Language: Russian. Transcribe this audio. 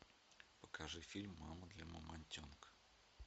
покажи фильм мама для мамонтенка